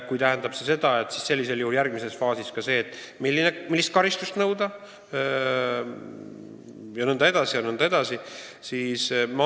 Kui see tähendab seda, siis järgmises faasis peaks olema järelevalve ka selle üle, millist karistust määrata jne, jne.